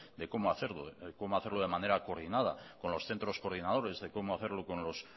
de cómo hacerlo de manera coordinada con los centros coordinadores de cómo hacerlo